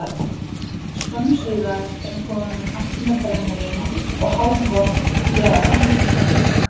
Skömmu síðar er hann kominn aftur með brennivín og hálfvolgt hveravatn í könnu.